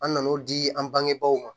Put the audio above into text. An nan'o di an bangebaaw ma